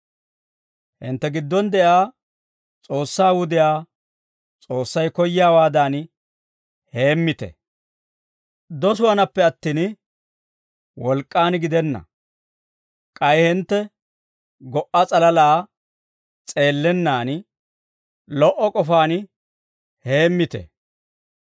Hintte giddon de'iyaa S'oossaa wudiyaa S'oossay koyyiyaawaadan heemmite. Dosuwaanappe attin, wolk'k'an gidenna. K'ay hintte go"a s'alalaa s'eellennan, lo"o k'ofaan heemmite.